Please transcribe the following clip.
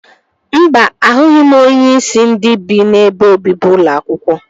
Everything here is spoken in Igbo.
Mba, ahụghị m onyeisi ndị bi n'ebe obibi ụlọ akwụkwọ